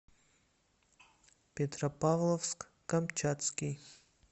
петропавловск камчатский